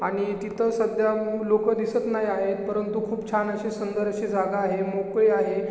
आणि तिथ सध्या लोक दिसत नाही आहेत परंतु खुप छान अशी सुंदर अशी जागा आहे मोकळी आहे.